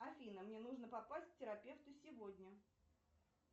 афина мне нужно попасть к терапевту сегодня